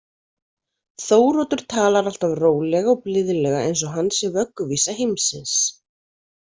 Þóroddur talar alltaf rólega og blíðlega, eins og hann sé vögguvísa heimsins.